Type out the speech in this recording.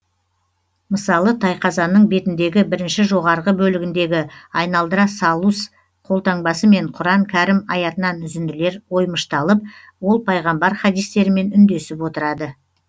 мысалы тайқазанның бетіндегі бірінші жоғарғы бөлігіндегі айналдыра салус қолтаңбасымен құран кәрім аятынан үзінділер оймышталып ол пайғамбар хадистерімен үндесіп отырады